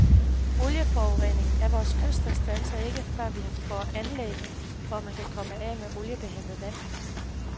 Olieforureningen af vore kyster standser ikke, før vi får anlæg, hvor man kan komme af med olieblandet vand.